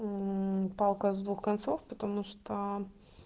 мм палка с двух концов потому что